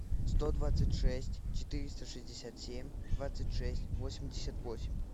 сто двадцать шесть четыреста шестьдесят семь двадцать шесть восемьдесят восемь